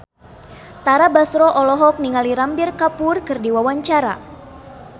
Tara Basro olohok ningali Ranbir Kapoor keur diwawancara